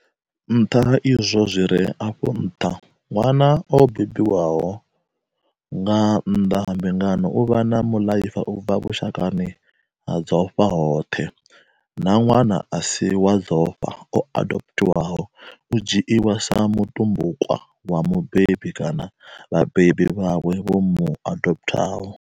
Nṱha ha izwo zwi re afho nṱha, ṅwana o bebiwa nga nnḓa ha mbingano u vha muḽaifa u bva vhushakani ha dzofha hoṱhe, na ṅwana a si wa dzofha o adoputhiwaho u dzhiiwa sa mutumbukwa wa mubebi kana vhabebi vhawe vho mu adoputhaho.